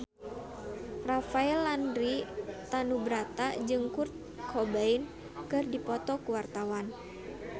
Rafael Landry Tanubrata jeung Kurt Cobain keur dipoto ku wartawan